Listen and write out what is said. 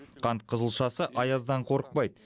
қант қызылшасы аяздан қорықпайды